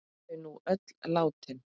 Eru þau nú öll látin.